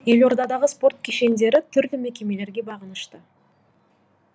елордадағы спорт кешендері түрлі мекемелерге бағынышты